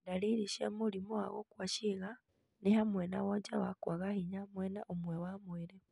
Dariri cia mũrimũ wa gũkua ciĩga nĩ hamwe na wonje wa kwaga hinya mwena ũmwe wa mwĩrĩ,